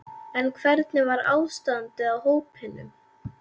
En hvernig var ástandið á hópnum?